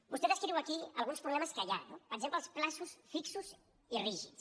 vostè descriu aquí alguns problemes que hi ha no per exemple els terminis fixos i rígids